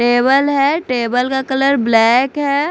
Table है table का colour black है।